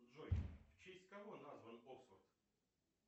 джой в честь кого назван оксфорд